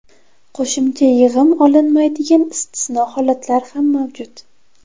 Qo‘shimcha yig‘im olinmaydigan istisno holatlar ham mavjud.